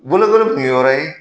Bolokoli kun ye yɔrɔ ye.